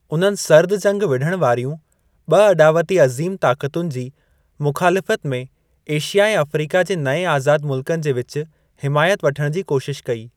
उन्हनि सर्दु जंगु विढ़णु वारियूं ब॒ अॾावती अज़ीम ताक़तुनि जी मुख़ालफ़ति में एशिया ऐं अफ्रीका जे नऐं आज़ादु मुल्कनि जे विच हिमायति वठणु जी कोशिशु कई।